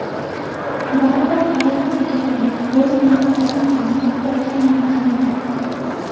Baribir ayrim idoralar o‘z manfaatini ko‘zlab bilganini qiladi.